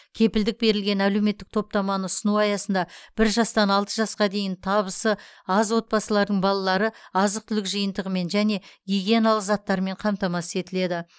кепілдік берілген әлеуметтік топтаманы ұсыну аясында бір жастан алты жасқа дейін табысы аз отбасылардың балалары азық түлік жиынтығымен және гигиеналық заттарымен қамтамасыз етіледі